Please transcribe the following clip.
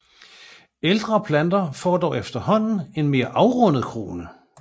Ældre planter får dog efterhånden en mere afrundet krone